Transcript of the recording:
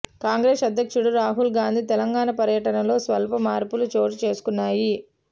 కాంగ్రెస్ అధ్యక్షుడు రాహుల్ గాంధీ తెలంగాణ పర్యటనలో స్వల్ప మార్పులు చోటు చేసుకున్నాయి